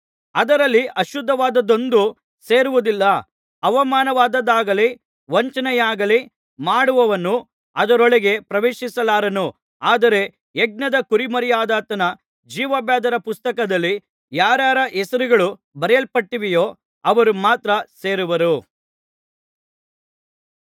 ಅದರಲ್ಲಿ ಅಶುದ್ಧವಾದದ್ದೊಂದು ಸೇರುವುದಿಲ್ಲ ಅವಮಾನವಾದದ್ದಾಗಲಿ ವಂಚನೆಯಾಗಲಿ ಮಾಡುವವನು ಅದರೊಳಗೆ ಪ್ರವೇಶಿಸಲಾರನು ಆದರೆ ಯಜ್ಞದ ಕುರಿಮರಿಯಾದಾತನ ಜೀವಬಾಧ್ಯರ ಪುಸ್ತಕದಲ್ಲಿ ಯಾರಾರ ಹೆಸರುಗಳು ಬರೆಯಲ್ಪಟ್ಟಿವೆಯೋ ಅವರು ಮಾತ್ರ ಸೇರುವರು